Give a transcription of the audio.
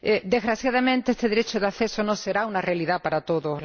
Desgraciadamente, este derecho de acceso no será una realidad para todos.